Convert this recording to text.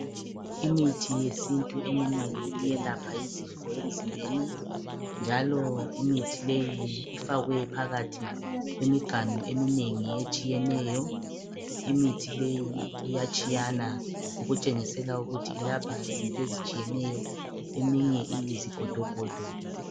Imithi yesintu iyelapha izifo ezinengi emzimbeni njalo imithi leyi ifakwe phakathi kwemiganu eminengi etshiyeneyo. Imithi leyi iyatshiyana okutshengisa ukuthi ilapha izinto ezitshiyeneyo. Eminye iyizigodogodo.